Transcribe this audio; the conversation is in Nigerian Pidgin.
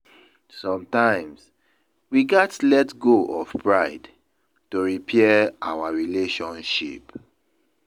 Sometimes, we gats let go of pride to repair our relationship.